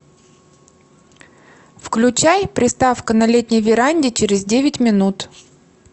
включай приставка на летней веранде через девять минут